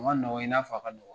O ka nɔgɔ i n'a fɔ a ka nɔgɔ.